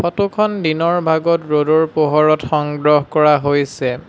Photo খন দিনৰ ভাগত ৰ'দৰ পোহৰত সংগ্ৰহ কৰা হৈছে।